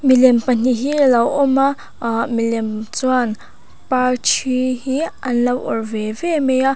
milem pahnih hi alo awm a aa milem chuan parṭhi hi an lo awrh ve ve mai a.